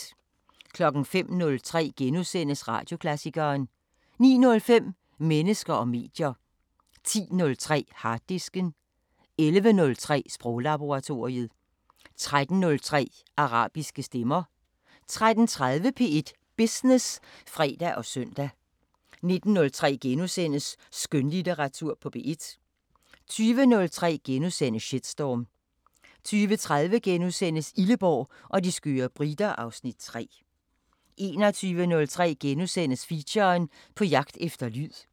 05:03: Radioklassikeren * 09:05: Mennesker og medier 10:03: Harddisken 11:03: Sproglaboratoriet 13:03: Arabiske Stemmer 13:30: P1 Business (fre og søn) 19:03: Skønlitteratur på P1 * 20:03: Shitstorm * 20:30: Illeborg og de skøre briter (Afs. 3)* 21:03: Feature: På jagt efter lyd *